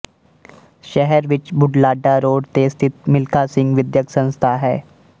ਸ਼ਹਿਰ ਵਿੱਚ ਬੁਢਲਾਡਾ ਰੋਡ ਤੇ ਸਥਿਤ ਮਿਲਖਾ ਸਿੰਘ ਵਿਦਿਅਕ ਸੰਸਥਾ ਹੈ